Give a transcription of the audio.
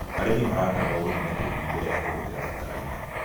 Arĩmi maratarwo gũthima tĩri mbere ya kũhũthĩra bataraitha.